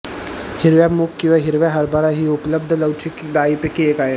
हिरव्या मूग किंवा हिरव्या हरभरा ही उपलब्ध लवचिक डाळींपैकी एक आहे